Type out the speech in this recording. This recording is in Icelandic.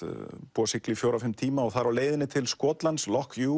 búið að sigla í fjögurra til fimm tíma það er á leiðinni til Skotlands